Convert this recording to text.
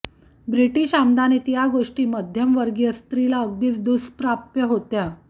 British आमदानीत या गोष्टी मध्यमवर्गीय स्त्रीला अगदीच दुष्प्राप्य होत्या